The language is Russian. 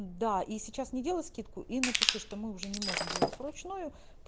да и сейчас не делай скидку и напиши что мы уже не можем делать вручную